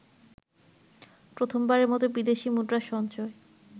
প্রথমবারের মত বিদেশি মুদ্রার সঞ্চয়